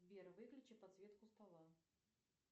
сбер выключи подсветку стола